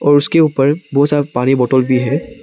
और उसके ऊपर बहुत सारा पानी बॉटल भी है।